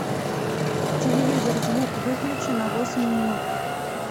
телевизор звук выключи на восемь минут